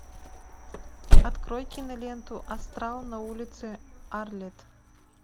открой киноленту астрал на улице арлетт